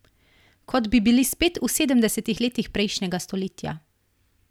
Kot bi bili spet v sedemdesetih letih prejšnjega stoletja.